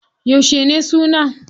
Yauce ne suna?